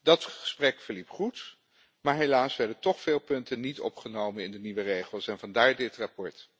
Dat gesprek verliep goed, maar helaas werden toch veel punten niet opgenomen in de nieuwe regels en vandaar dit verslag.